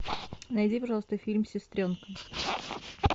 найди пожалуйста фильм сестренка